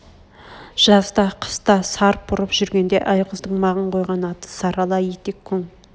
жаз да қыс та сарп ұрып жүргенде айғыздың маған қойған аты сарала етек күң